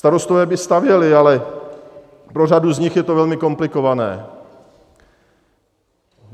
Starostové by stavěli, ale pro řadu z nich je to velmi komplikované.